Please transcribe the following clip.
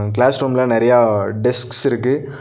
Glaze ரூம்ல நறையா desks இருக்கு.